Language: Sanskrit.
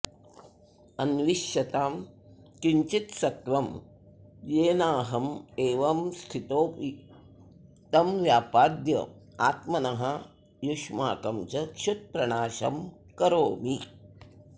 अन्विष्यतां किञ्चित्सत्त्वं येनाहमेवंस्थितोऽपि तं व्यापाद्याऽत्मनो युष्माकं च क्षुत्प्रणाशं करोमि